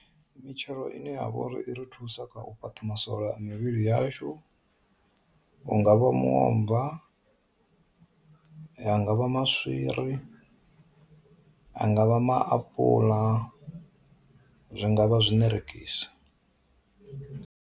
Mitshelo ine ya vha uri i ri thusa kha u fhaṱa masole a mivhili yashu, hungavha muomva, ha nga vha maswiri, ha nga vha maapuḽa, zwi ngavha zwinerengisi.